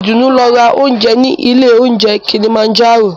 Ìdùnú lọ ra óúnjẹ ní ilé óunjẹ Kilimanjaro.